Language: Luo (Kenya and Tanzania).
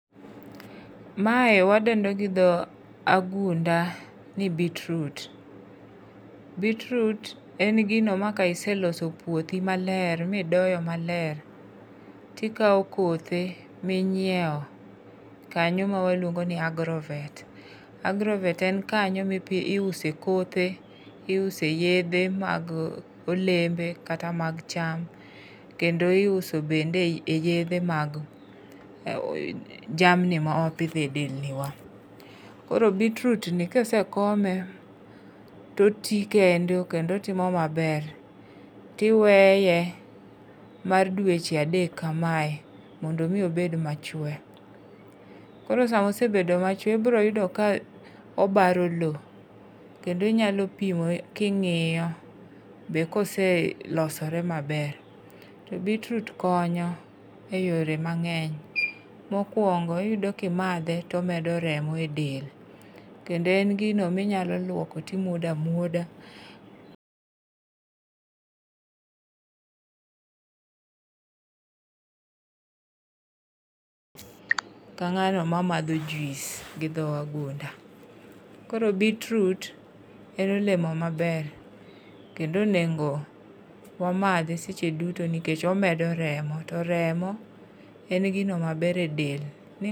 Mae wadendo gi dho wagunda ni beetroot. Beetroot en gino ma ka iseloso piothi maler, ma idoyo maler, tikawo kothe minyiewo, kanyo ma waluongo ni agrovet. Agrovet en kanyo ma iuse kothe, iuse yiedhe ma olembe kata mag cham, kendo iuso bende e yiedhe mag jamni ma wapidhe delni wa. Koro beetroot ni ka osekome to oti kende kendo otimo maber. To iweye, mar dweche adek kamae, mondo omi obed machwe. Koro sama osebedo machwe, ibiro yudo ka obaro lowo, kendo inyalo pimo king'iyo be koselosore maber. To beetroot konyo e yore mang'eny. Mokwongo, iyudo ka imadhe, to omedo remo e del, kendo en gino ma inyalo lwoko to imwodo amwoda ka ng'ano mamadho juice gi dho wagunda. Koro beetroot en olemo maber. Kendo onego wamadhe seche duto nikech omedo remo. To remo en gino maber e del. Ni